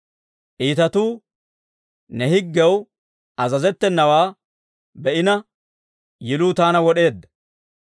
Iitatuu ne higgiyaw azazettenawaa be'ina, yiluu taana wod'eedda.